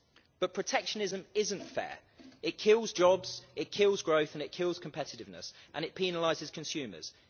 But protectionism isn't fair it kills jobs, it kills growth and it kills competitiveness and it penalises consumers.